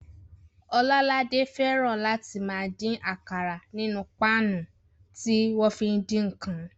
Ọlọ́ládé fẹ́ràn láti máa dín àkàrà nínú páànù tí wọ́n fi ń dín ǹkan